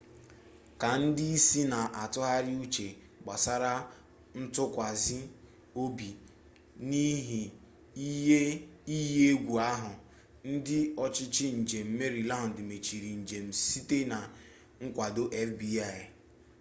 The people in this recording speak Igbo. ka ndị isi na-atụgharị uche gbasara ntụkwasị obi n'ihe iyi egwu ahụ ndị ọchịchị njem meriland mechiri njem site na nkwado fbi